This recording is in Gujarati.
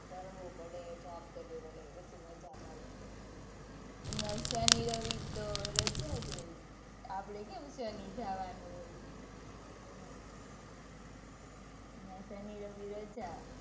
ભણવું પડે, job કરવી પડે પછી મજા મળે. ત્યાં શનિ રવિ તો રજા જ હોય. આપડે કેમ શનિ જવાનું હોય. હમ્મ ત્યાં શનિ રવિ રજા.